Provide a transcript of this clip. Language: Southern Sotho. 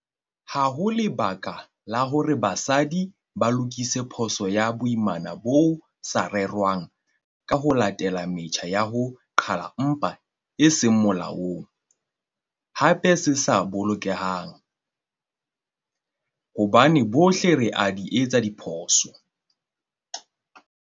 Ha ho lebaka la hore basadi ba lokise phoso ya boimana bo sa rerwang ka ho latela metjha ya ho qhala mpha e seng molaong, hape e sa bolokehang, hobane bohle re a di etsa diphoso.